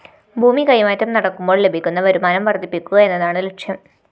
ഭൂമി കൈമാറ്റം നടക്കുമ്പോള്‍ ലഭിക്കുന്ന വരുമാനം വര്‍ദ്ധിപ്പിക്കുക എന്നതാണ് ലക്ഷ്യം